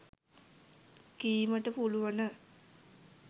කීමට පුළුවන